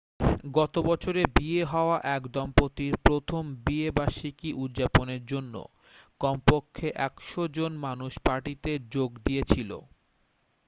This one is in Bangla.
গত বছরে বিয়ে হওয়া এক দম্পতির প্রথম বিয়ে বার্ষিকী উদযাপনের জন্য কম পক্ষে 100 জন মানুষ পার্টিতে যোগ দিয়েছিল